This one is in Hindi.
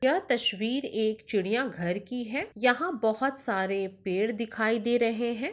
यह तशवीर चिड़ियाघर की है | यहाँ बोहोत सारे पेड़ दिखाए दे रहे है ।